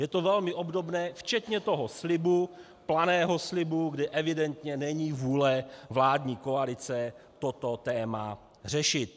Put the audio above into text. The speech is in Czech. Je to velmi obdobné včetně toho slibu, planého slibu, kde evidentně není vůle vládní koalice toto téma řešit.